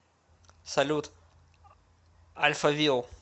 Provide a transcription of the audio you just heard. салют альфавил